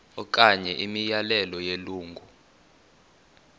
okanye imiyalelo yelungu